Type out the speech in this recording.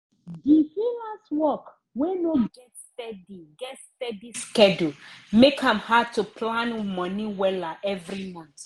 di freelance work wey no get steady get steady schedule make am hard to plan money wella every month